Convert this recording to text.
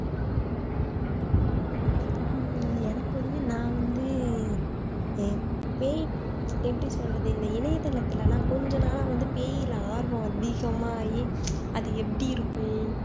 உம் எனக்கு வந்து நான் வந்து ஹம் பேய் எப்படி சொல்றது இந்த இணையதளத்துல எல்லாம் கொஞ்ச நாளா பேயில ரொம்ப ஆர்வம் அதிகமாயி அது எப்படி இருக்கு